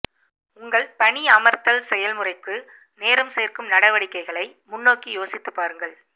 உங்கள் பணியமர்த்தல் செயல்முறைக்கு நேரம் சேர்க்கும் நடவடிக்கைகளை முன்னோக்கி யோசித்துப் பாருங்கள்